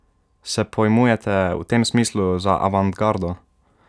Se pojmujete v tem smislu za avantgardo?